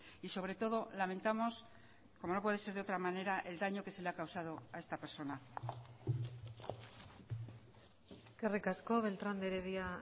y sobre todo lamentamos como no puede ser de otra manera el daño que se le ha causado a esta persona eskerrik asko beltrán de heredia